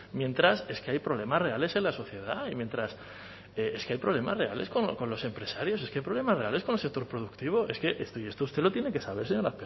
mientras hay problemas reales en la sociedad y mientras es que hay problemas reales con los empresarios es que hay problemas reales con el sector productivo y esto usted lo tiene que saber señor